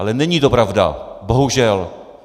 Ale není to pravda bohužel.